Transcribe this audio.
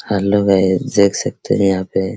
hello guys देख सकते हैं यहां पे --